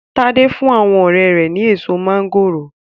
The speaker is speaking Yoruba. Tade fún àwọn ọrẹ́ rẹ̀ ni èso máńgòrò.